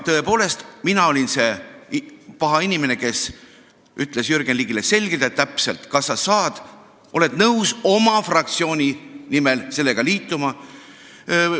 Tõepoolest, mina olin see paha inimene, kes ütles Jürgen Ligile selgelt ja täpselt: kas sa oled nõus oma fraktsiooni nimel sellega liituma?